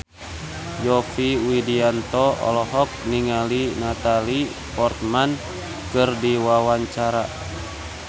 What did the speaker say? Yovie Widianto olohok ningali Natalie Portman keur diwawancara